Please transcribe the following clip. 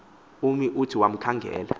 ummo uthi wakumkhangela